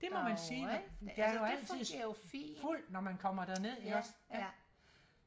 derovre ikke det fungere jo fint ja ja